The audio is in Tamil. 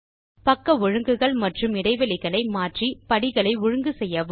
பக்க ஒழுங்குகள் மற்றும் இடைவெளிகளை மாற்றி படிகளை ஒழுங்கு செய்யவும்